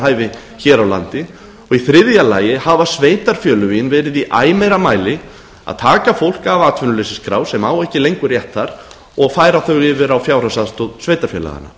hæfi hér á landi og í þriðja lagi hafa sveitarfélögin verið í æ meira mæli að taka fólk af atvinnuleysisskrá sem á ekki lengur rétt þar og færa þau yfir á fjárhagsaðstoð sveitarfélaganna